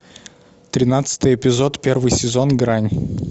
тринадцатый эпизод первый сезон грань